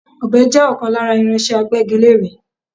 Ọ̀be jẹ́ ọ̀kan lára irinse Agbẹ́gilére.